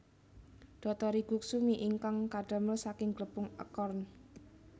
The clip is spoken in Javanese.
Dotori guksu mi ingkang kadamel saking glepung acorn